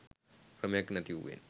ක්‍රමයක් නැතිවූයෙන්